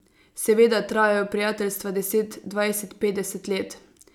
Seveda trajajo prijateljstva deset, dvajset, petdeset let.